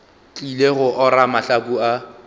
tlile go ora mahlaku a